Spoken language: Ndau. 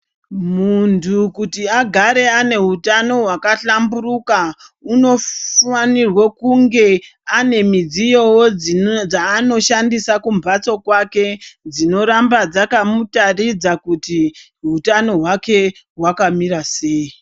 Muntu kuti agare ane htano hwaka hlamburika unofanirwe kunge anemudziyo wo dzanoshandosa kumba kwake dzinoramba dzaka mutaridze kuti hutano hwake hwakamira sei.